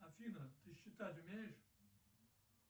афина ты считать умеешь